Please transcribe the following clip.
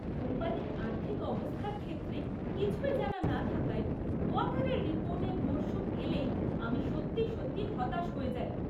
কোম্পানির আর্থিক অবস্থার ক্ষেত্রে কিছুই জানা না থাকায় কোয়ার্টারের রিপোর্টের মরশুম এলেই আমি সত্যি সত্যি হতাশ হয়ে যাই।